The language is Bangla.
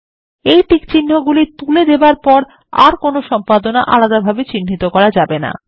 এই টিকচিহ্নগুলি তুলে দেবার পর আর কোন সম্পাদনা আলাদাভাবে চিহ্নিত করা যায় না